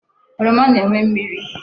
Oroma na-enwe mmiri.